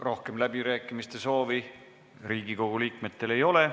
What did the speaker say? Rohkem läbirääkimiste soovi Riigikogu liikmetel ei ole.